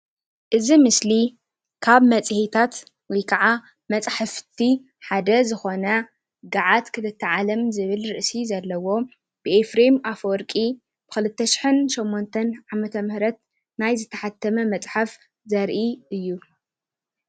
እዚ ምስሊ ካብ መጽሄታት ወይ ከዓ ምፅሓፍቲ ሓደ ዝኮነ ገዓት ክልተ ዓለም ዝብል ርእሲ ዘለዎ ብ ኤፍሬም ኣፈወርቂ ብ ክልተሽሕን ሸሞንተን ዓመተ ምህረት ናይ ዝተሓተመ መፅሓፍ ዘርኢ እዩ።